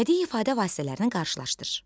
Bədii ifadə vasitələrini qarşılaşdır.